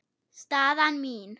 Staðan mín?